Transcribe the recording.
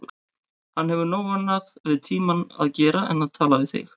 Hún hefur nóg annað við tímann að gera en tala við þig.